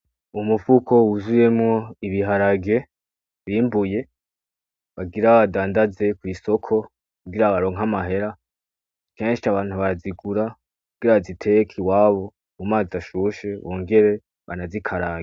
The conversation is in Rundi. Umufuko wuzuyemwo ibiharage bimbuye, bagira badandaze kw'isoko, kugira baronke amahera. Kenshi abantu barazigura kugira baziteke iwabo mu mazi ashushe bongere banazikarange.